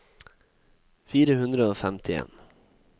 fire hundre og femtien